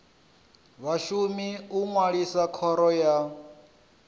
vhashumi u ṅwalisa khoro ya